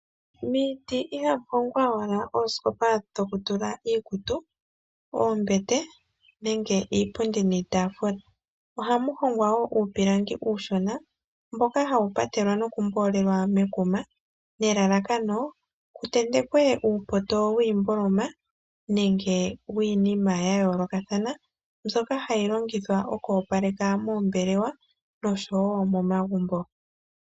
Miiti ihamu hongwa owala oosikopa dhoku tula iikutu, oombete nenge iipundi niitaafula, ohamu hongwa wo uupilangi uushona mboka hawu patelwa noku mboolelwa mekuma nelalakano ku tentekwe uupoto wiimboloma nenge wiinima ya yooloka mbyoka hayi longithwa oku opaleka moombelewa oshowo momagumbo.